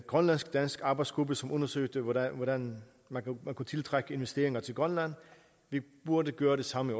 grønlandsk dansk arbejdsgruppe som undersøgte hvordan man kunne tiltrække investeringer til grønland vi burde gøre det samme